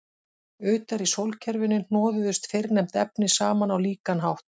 Utar í sólkerfinu hnoðuðust fyrrnefnd efni saman á líkan hátt.